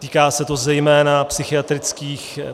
Týká se to zejména psychiatrických -